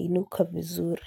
inuka vizuri.